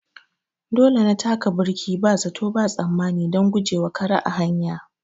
Dole na taka birki ba zato ba tsammani don guje wa kare a hanya.